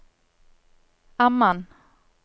Amman